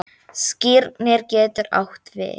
Skírnir getur átt við